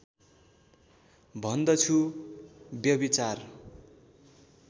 भन्दछु व्यभिचार